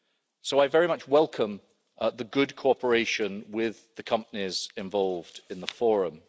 So I very much welcome the good cooperation with the companies involved in the Internet Forum.